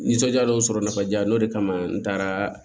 Nisɔndiyalenw sɔrɔ jaa n'o de kama n taara